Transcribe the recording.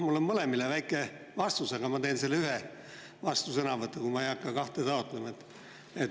Mul on mõlemale väike vastus, aga ma annan selle ühe vastusõnavõtuga, ma ei hakka kahte taotlema.